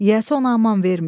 Yiyəsi ona aman vermir.